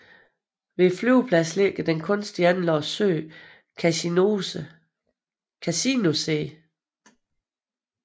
Ved flyvepladsen ligger den kunstigt anlagte sø Casinosee